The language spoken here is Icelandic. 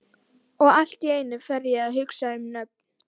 Og allt í einu fer ég að hugsa um nöfn.